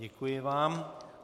Děkuji vám.